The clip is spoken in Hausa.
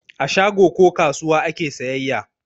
A shago ko kasuwa ake sayayya.